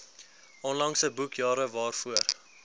onlangse boekjare waarvoor